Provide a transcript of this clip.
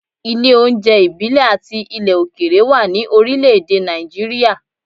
Ilé oúnjẹ ìbílẹ̀ àti ilẹ̀ òkèèrè wà ní orílẹ̀ èdè Nàìjíríà.